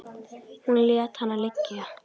Hún lét hana liggja.